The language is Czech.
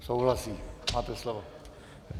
Souhlasí, máte slovo.